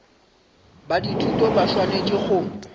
ba dithuto ba swanetše go